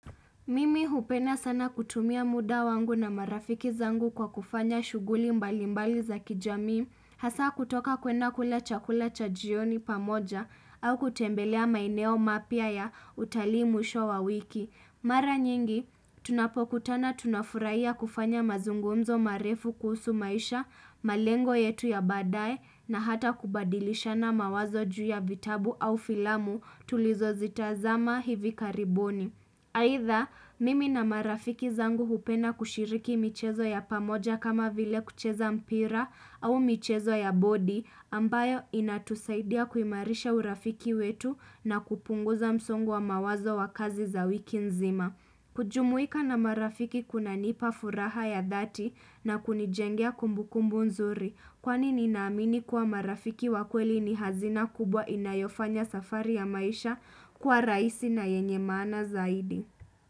Mimi hupenda sana kutumia muda wangu na marafiki zangu kwa kufanya shughuli mbalimbali za kijamii, hasa kutoka kwenda kula chakula cha jioni pamoja au kutembelea maeneo mapya ya utalii mwisho wa wiki. Mara nyingi, tunapokutana tunafuraiya kufanya mazungumzo marefu kusu maisha, malengo yetu ya badae na hata kubadilisha na mawazo juu ya vitabu au filamu tulizo zitazama hivi karibuni Aidha mimi na marafiki zangu hupenda kushiriki michezo ya pamoja kama vile kucheza mpira au michezo ya bodi ambayo inatusaidia kuimarisha urafiki wetu na kupunguza msongo wa mawazo wa kazi za wiki nzima. Kujumuika na marafiki kuna nipa furaha ya dati na kunijengia kumbu kumbu nzuri kwani ninaamini kwa marafiki wakweli ni hazina kubwa inayofanya safari ya maisha kwa raisi na yenye maana zaidi.